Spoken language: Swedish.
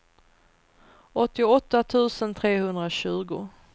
åttioåtta tusen trehundratjugo